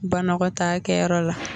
Banɔgɔtaakɛyɔrɔ la